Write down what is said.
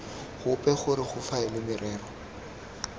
gope gore go faelwe merero